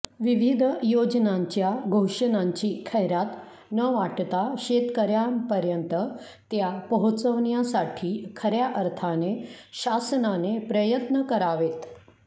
विविध योजनांच्या घोषणांची खैरात न वाटता शेतकर्यांपर्यंत त्या पोहोचवण्यासाठी खर्या अर्थाने शासनाने प्रयत्न करावेत